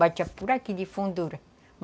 Batia por aqui de fundura.